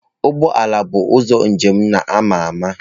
Ụgbọ ala bụ ụzọ njem na-ama ama.